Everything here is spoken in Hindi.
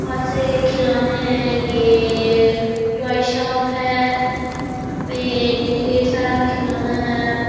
बहोत से खिलौने है ये टॉय शॉप है यहाँ पे ढेर सारा खिलौना है।